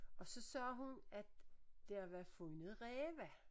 Og så sagde hun at der var fundet ræve